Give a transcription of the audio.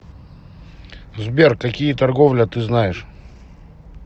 сбер какие торговля ты знаешь